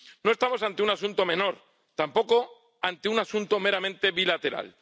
No estamos ante un asunto menor, tampoco ante un asunto meramente bilateral.